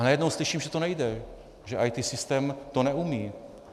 A najednou slyším, že to nejde, že IT systém to neumí.